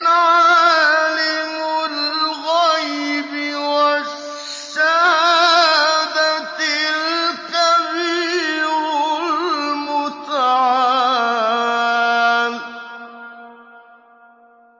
عَالِمُ الْغَيْبِ وَالشَّهَادَةِ الْكَبِيرُ الْمُتَعَالِ